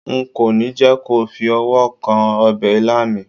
nko ni je ko fi ọwọ kan obe ilá mi